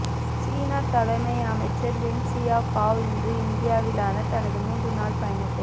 சீன தலைமை அமைச்சர் வென்சியாவ் பாவ் இன்று இந்தியாவிலான தனது மூன்று நாள் பயணத்தை